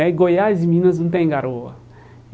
É e Goiás e Minas não tem garoa.